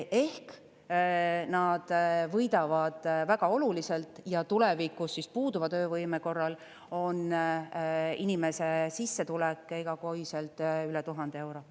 Ehk nad võidavad väga oluliselt ja tulevikus puuduva töövõime korral on inimese sissetulek igakuiselt üle 1000 euro.